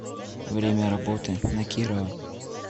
время работы на кирова